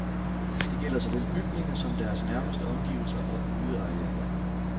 Det gælder såvel bygninger som deres nærmeste omgivelser og udearealer.